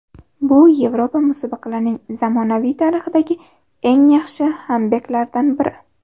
Bu Yevropa musobaqalarining zamonaviy tarixidagi eng yaxshi kambeklaridan biri.